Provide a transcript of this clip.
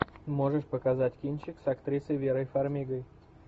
можешь показать кинчик с актрисой верой фармигой